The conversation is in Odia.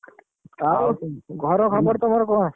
ଆଉ ଘର ଖବର ତମର କଣ?